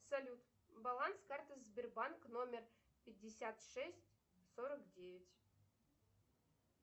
салют баланс карты сбербанк номер пятьдесят шесть сорок девять